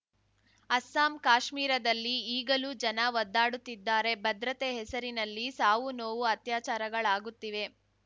ಅಸ್ಸಾಂ ಕಾಶ್ಮೀರದಲ್ಲಿ ಈಗಲೂ ಜನ ಒದ್ದಾಡುತ್ತಿದ್ದಾರೆ ಭದ್ರತೆ ಹೆಸರಿನಲ್ಲಿ ಸಾವು ನೋವು ಅತ್ಯಾಚಾರಗಳಾಗುತ್ತಿವೆ